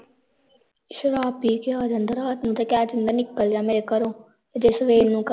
ਸ਼ਰਾਬ ਪੀਕੇ ਆ ਜਾਂਦਾ ਰਾਤ ਨੂੰ ਤੇ ਕਹਿ ਦਿੰਦਾ ਹੈ ਨਿਕਲ ਜਾ ਮੇਰੇ ਘਰੋਂ ਤੇ ਜੇ ਸਵੇਰ ਨੂੰ